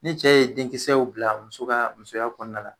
Ni cɛ ye denkisɛw bila muso ka musoya kɔnɔna la